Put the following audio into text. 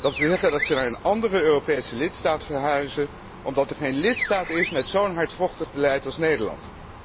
Dat wil zeggen dat ze naar een andere Europese lidstaat verhuizen omdat er geen lidstaat is met zo'n hardvochtig beleid als Nederland.